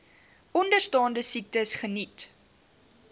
onderstaande siektes geniet